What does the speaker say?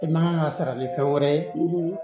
I man kan ka sara ni fɛn wɛrɛ ye